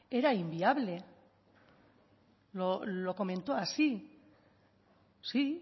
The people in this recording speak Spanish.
era inviable lo comentó así sí